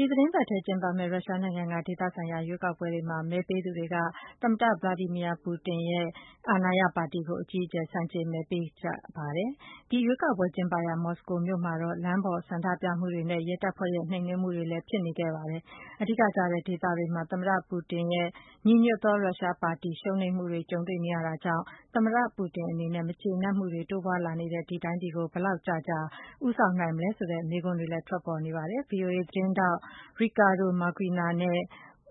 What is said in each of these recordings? ဒီ သီတင်းပတ်ထဲ ကျင်းပတဲ့ ရုရှားနိုင်ငံ ဒေသဆိုင်ရာ ရွေးကောက်ပွဲတွေမှာ မဲပေးသူတွေက သမ္မတ ဗလာဒီမာ ပူတင်ရဲ့ အာဏာရ ပါတီကို အကြီးအကျယ် ဆန်ု့ကျင်မဲပေးခဲ့ကြပါတယ်။ ဒီ ရွေးကောက်ပွဲ ကျင်းပရာ မော်စကိုမြို့မှာတော့ လမ်းပေါ် ဆန္ဒပြမှုတွေနဲ့ ရဲတပ်ဖွဲ့ရဲ့ နှိမ်နင်းမှုလည်း ဖြစ်ပေါ်ခဲ့ပါတယ်။ အဓိကကျတဲ့ဒေသတွေမှာ သမ္မတပူတင်ရဲ့ ညီညွတ်သော ရုရှားပါတီ ရှုံးနိမ့်မှုတွေ ကြုံတွေ့နေရတာကြောင့် သမ္မတပူတင်အနေနဲ့ မကျေမနပ်မှုတွေ တိုးပွားလာနေတဲ့ ဒီတိုင်းပြည်ကို ဘယ်လောက်ကြာကြာ ဦးဆောင်နိုင်မလဲဆိုတဲ့ မေးခွန်းလည်း ထွက်ပေါ်လာပါတယ်။ VOA သတင်းထောက် Ricardo Marquina နဲ့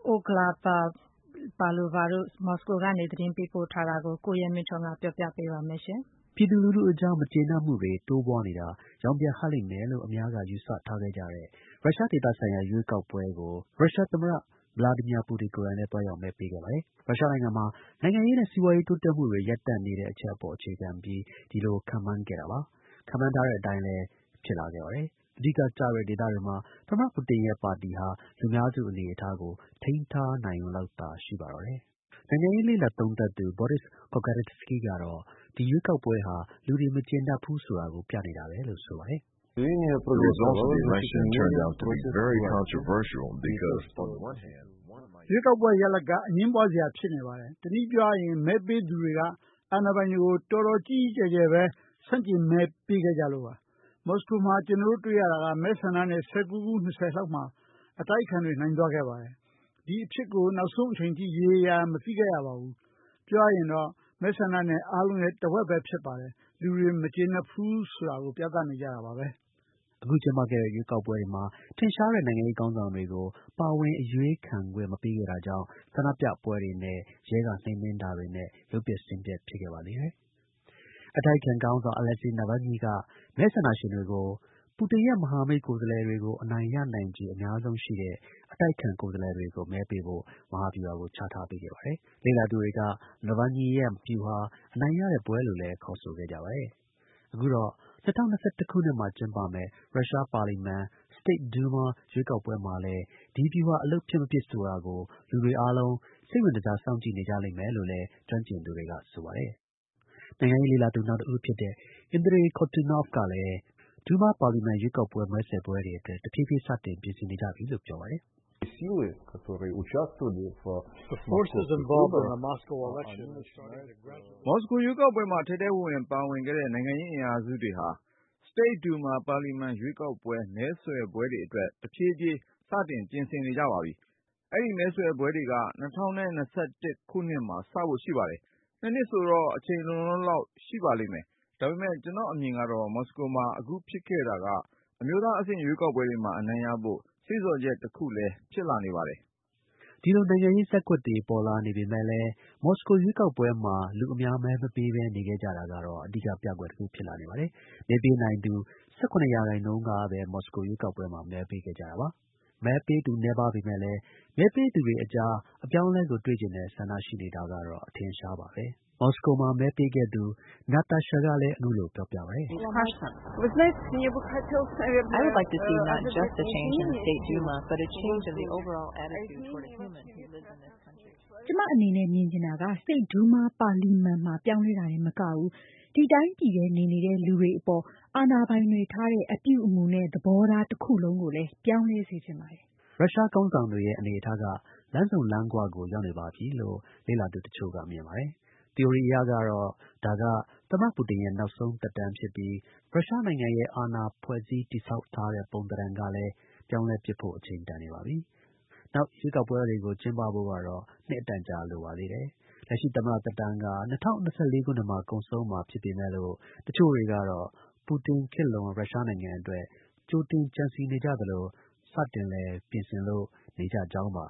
OlgaPavlova မော်စကိုကနေ သတင်းပေးပို့ ထားတာကို ကိုရဲမင်းထွန်းက ပြောပြပါမယ်။ ပြည်သူတွေရဲ့ မကျေမနပ်မှုတွေ တိုးပွားနေတာ ရောင်ပြန်ဟပ်လိမ့်မယ်လို့ အများ ယူဆထားကြတဲ့ ရုရှား ဒေသဆိုင်ရာ ရွေးကောက်ပွဲကို ရုရှား သမ္မတ Vladimir Putin ကိုယ်တိုင်လည်း သွားရောက်မဲပေးခဲ့ပါတယ်။ ရုရှားနိုင်ငံမှာ နိုင်ငံရေးနဲ့ စီးပွားရေး တိုးတက်မှုတွေ ရပ်တန့်နေတဲ့ အချက် အပေါ် အခြေခံပြီး ခန့်မှန်းခဲ့တာပါ။ ခန့်မှန်းထားတဲ့အတိုင်းလည်း ဖြစ်လာခဲ့ပါတယ်။ ဒီ အဓိကကျတဲ့ ဒေသတွေမှာ သမ္မတ ပူတင်ရဲ့ ပါတီဟာ လူများစု အနေအထားကို ထိန်းထား နိုင်ရုံလောက်သာ ရှိပါတော့တယ်။ နိုင်ငံရေးလေ့လာသူ Boris Kagorlitsky က အခုလိုပြောပါတယ်။ “ရွေးကောက်ပွဲ ရလဒ်က အငြင်းပွားစရာလေ။ တစ်နည်းပြောရရင်လည်း မဲပေးသူတွေက အာဏာပိုင်တွေကို တော်တော်ကြီးကြီးကျယ်ကျယ်ပဲ ဆန့်ကျင်မဲပေးခဲ့ကြလို့ပါ။ မော်စကိုမှာ ကျွန်တော်တို့တွေ့ရတာက မဲဆန္ဒနယ် ၁၉ - ၂၀ လောက် အတိုက်အခံတွေ နိုင်သွားခဲ့တယ်။ ဒီအဖြစ်ကို နောက်ဆုံး အချိန်အထိ ရေရေရာရာ မသိခဲ့ရဘူး။ ပြောရရင် မဲဆန္ဒနယ်အားလုံးရဲ့ တစ်ဝက်ပဲဗျ။ လူတွေ မကျေနပ်ဘူးဆိုတာကို ပြနေတာပဲ။” ဒီ ရွေးကောက်ပွဲတွေမှာ ထင်ရှားတဲ့ နိုင်ငံရေး ခေါင်းဆောင်တွေကို ပါဝင် အရွေးခံခွင့် မပေးခဲ့တာကြောင့် ဆန္ဒပြပွဲတွေနဲ့ ရဲက နှိမ်နင်းတာတွေနဲ့ ရုပ်ပျက်ဆင်းပျက် ဖြစ်ခဲ့ပါသေးတယ်။ အတိုက်အခံခေါင်းဆောင် Alexei Navalny က မဲဆန္ဒရှင်တွေကို ပူတင်ရဲ့ မဟာမိတ် ကိုယ်စားလှယ်တွေကို အနိုင်ရနိုင်ခြေ အများဆုံး ရှိတဲ့ အတိုက်အခံ ကိုယ်စားလှယ်တွေကို မဲပေးဖို့ မဟာဗျူဟာကို ချပေးခဲ့ပါတယ်။ လေ့လာသူတွေက Nalvany ရဲ့ ဗျူဟာ အနိုင်ရတဲ့ပွဲလို့လည်း ခေါ်ဆိုခဲ့ပါတယ်။ အခုတော့ ၂၀၂၁ ခုနှစ်မှာ ကျင်းပမယ့် ရုရှား ပါလီမန် ရွေးကောက်ပွဲမှာလည်း ဒီ ဗျူဟာ အလုပ်ဖြစ် မဖြစ် ဆိုတာကို လူတွေအားလုံး စိတ်ဝင်တစား စောင့်ကြည့် နေကြလိမ့်မယ်လို့လည်း ကျွမ်းကျင်သူတွေက ဆိုပါတယ်။ နိုင်ငံရေးလေ့လာသူAndrei Kortunov က Duma လွှတ်တော် ရွေးကောက်ပွဲတွေအတွက် တဖြေးဖြေးစတင်ပြင်ဆင်နေကြပြီလို့ ပြောပါတယ်။ “မော်စကို ရွေးကောက်ပွဲမှာ ထဲထဲဝင်ဝင် ပါဝင်ခဲ့တဲ့ နိုင်ငံရေး အင်အားစုတွေဟာ Duma လွှတ်တော် ရွေးကောက်ပွဲ မဲဆွယ်ပွဲတွေအတွက် တဖြည်းဖြည်း စတင်ပြင်ဆင်နေကြပါပြီ။ အဲဒီ မဲဆွယ်ပွဲတွေက ၂၀၂၁ ခုနှစ်မှာ စဖို့ရှိတယ်။ ၂ နှစ်ဆိုတော့ အချိန် လုံလုံလောက်လောက် ရှိလိမ့်မယ်။ ဒါပေမဲ့ ကျွန်တော့်အမြင်က မော်စကိုမှာ အခုဖြစ်ခဲ့တဲ့ဟာက အမျိုးသား အဆင့် ရွေးကောက်ပွဲတွေမှာ အနိုင်ရဖို့ စေ့ဆော်ချက် တစ်ခုလည်း ဖြစ်လာနေပါတယ်။” ဒါပေမဲ့ ဒီလို နိုင်ငံရေး ဇတ်ကွက်တွေ ပေါ်လာနေပေမဲ့လည်း မော်စကို ရွေးကောက်ပွဲမှာ လူ အများ မဲ မပေးပဲနေကြတာက အဓိက ပြကွက် တစ်ခုဖြစ်လာနေပါတယ်။ မဲပေးနိုင်သူ ၁၇ ရာခိုင်နှုန်းကပဲ မော်စကို ရွေးကောက်ပွဲမှာ မဲပေးခဲ့ကြပါတယ်။ မဲပေးသူ မများပေမဲ့လည်း မဲပေးသူတွေအကြား အပြောင်းအလဲကိုတွေ့ချင်တဲ့ ဆန္ဒရှိနေတာကတော့ အထင်အရှားပါပဲ။ Moscow မှာ မဲပေးခဲ့သူ Natasha ကလည်း အခုလို ပြောပါတယ်။ “ကျွန်မ မြင်ချင်တာက Duma လွှတ်တော် မှာ ပြောင်းလဲတာတင်မကဘူး ဒီ တိုင်းပြည်ထဲ နေနေတဲ့ လူတွေအပေါ် အာဏာပိုင်တွေ ထားတဲ့ အပြုအမူနဲ့သဘောထား တစ်ခုလုံးကိုလည်း ပြောင်းလဲစေချင်ပါတယ်။” ရုရှား ခေါင်းဆောင်တွေရဲ့ အနေအထားက လမ်းဆုံလမ်းခွကို ရောက်နေပါပြီလို့ လေ့လာသူတစ်ချို့က မြင်ပါတယ်။ သီအိုရီအရကတော့ ဒါက သမ္မတ ပူတင်ရဲ့ နောက်ဆုံး သက်တမ်းဖြစ်ပြီး ရုရှားနိုင်ငံရဲ့ အာဏာ ဖွဲ့စည်းတည်ဆောက်ထားတဲ့ပုံ သဏ္ဍန်ကလည်း ပြောင်းလဲပစ်ဖို့ အချိန်တန်နေပါပြီ။ နောက် ရွေးကောက်ပွဲတွေက ကျင်းပဖို့ကတော့ နှစ်အတန်ကြာလိုပါသေးတယ်။ လက်ရှိ သမ္မတ သက်တမ်းက ၂၀၂၄ ခုနှစ်မှာ ကုန်ဆုံးမှာဖြစ်ပေမဲ့လို တစ်ချို့တွေကတော့ ပူတင် ခေတ်လွန် ရုရှားနိုင်ငံအတွက် ကြိုတင် ကြံစည်နေသလို စတင်လည်း ပြင်ဆင်လို့ နေကြကြောင်းပါ